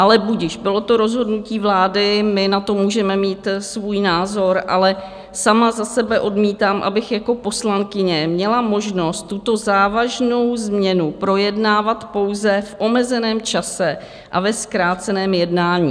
Ale budiž, bylo to rozhodnutí vlády, my na to můžeme mít svůj názor, ale sama za sebe odmítám, abych jako poslankyně měla možnost tuto závažnou změnu projednávat pouze v omezeném čase a ve zkráceném jednání.